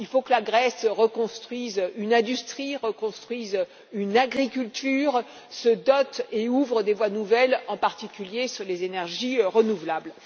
Il faut que la Grèce reconstruise une industrie, reconstruise une agriculture, se dote et ouvre des voies nouvelles, en particulier en ce qui concerne les énergies renouvelables.